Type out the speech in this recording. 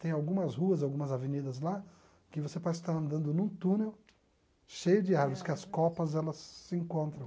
Tem algumas ruas, algumas avenidas lá, que você pode estar andando num túnel cheio de árvores, que as copas elas se encontram.